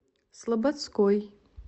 слободской